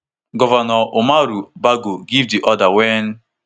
govnor umaru bago give di order wen